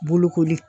Bolokoli